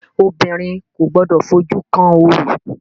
Obìnrin kò gbọdọ̀ fojú kan orò!